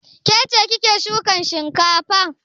Ke ce kike shukan shinkafa?